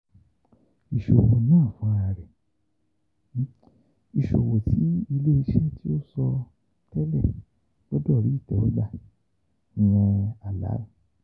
Iṣowo naa funrararẹ: Iṣowo ti ile-iṣẹ ti o sọ tẹlẹ gbọdọ ri itewogba (halal).